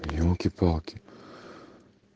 ёлки-палки